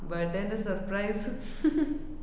birthday ന്‍റെ surprise